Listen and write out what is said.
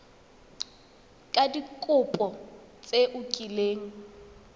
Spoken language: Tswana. ka dikopo tse o kileng